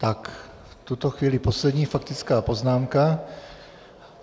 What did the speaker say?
Tak v tuto chvíli poslední faktická poznámka.